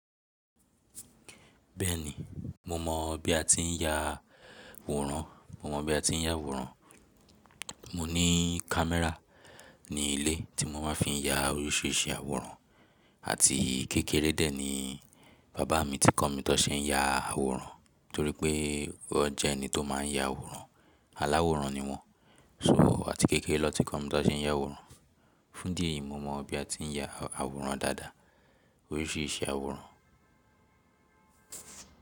Bẹ́ẹ̀ni, mo mọ̀ bí a ti ń ya àwòrán. Mo mọ bí a ti ń ya àwòrán. Mo ní camera ní ilé tí mo máa fi ń ya oríṣìíríṣìí àwòrán. Àti kékeré dé ní bàbá mi tí kọ́ mi tó ṣe ń ya àwòrán torí pé wọn jẹ́ ẹni tó máa ń ya àwòrán. Aláwòrán ni wọ́n. Too, atí kékeré ni won ti kọ́ mi tó ṣe ń ya àwòrán. Fún idi eyi, mo mọ bí a ti ń ya àwòrán dáadáa. Oríṣìíríṣìí àwòrán.